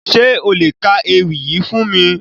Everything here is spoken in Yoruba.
Ṣe o le ka ewi yii fun mi?